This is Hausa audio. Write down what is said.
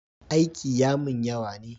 Aiki ya mun yawa ne